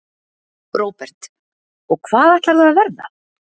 Róbert: Og hvað ætlarðu að verða?